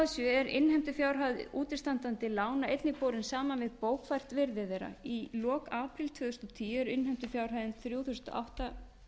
sömu blaðsíðu er innheimtufjárhæð útistandandi lána einnig borin saman við bókfært virði þeirra í lok apríl tvö þúsund og tíu er innheimtufjárhæðin þrjú þúsund átta